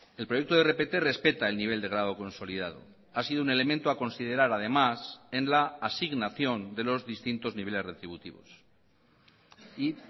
el proyecto de rpt respeta el nivel de grado consolidado ha sido un elemento a considerar además en la asignación de los distintos niveles retributivos y